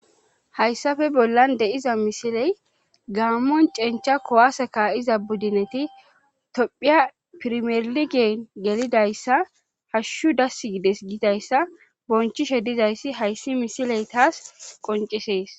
Hayssafe bollan de'iza misiley gaammon cenchcha kowase ka'iza buddineti tophphiya pirmerligen gelidayssa hashshu dass gides gidayssa bonchishshe dizayssi hayssi misiley taas qoncisees